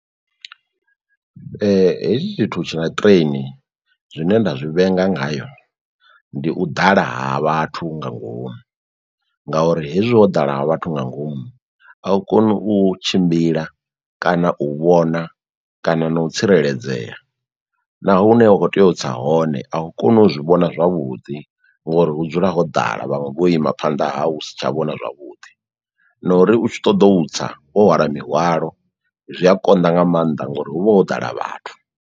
Hetshi tshithu tshina train zwine nda zwi vhenga ngayo ndi u ḓala ha vhathu nga ngomu, ngauri hezwi ho ḓala ha vhathu nga ngomu a u koni u tshimbila kana u vhona kana no u tsireledzea, na hune wa kho tea u tsa hone au koni u zwi vhona zwavhuḓi, ngori hu dzula ho ḓala vhaṅwe vho ima phanḓa ha u si tsha vhona zwavhuḓi, no uri u tshi ṱoḓo u tsa wo hwala mihwalo zwi a konḓa nga mannḓa ngori hu vha ho ḓala vhathu.